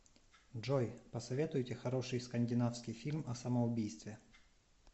джой посоветуйте хороший скандинавский фильм о самоубийстве